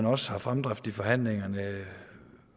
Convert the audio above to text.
også er fremdrift i forhandlingerne